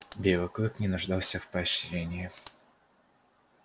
белый клык не нуждался в поощрении